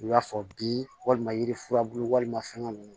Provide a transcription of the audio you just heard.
I b'a fɔ bi walima yiri furabulu walima fɛngɛ ninnu